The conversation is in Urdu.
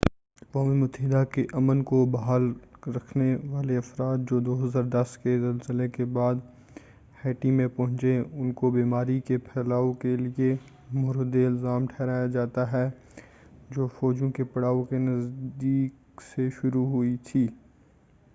اقوام متحدہ کے امن کو بحال رکھنے والے افراد جو 2010 کے زلزلے کے بعد ہیٹی میں پہنچے اُن کو بیماری کے پھیلاؤ کے لیے مورد الزام ٹھہرایا جاتا ہے جو فوجوں کے پڑاؤ کے نزدیک سے شروع ہوئی تھی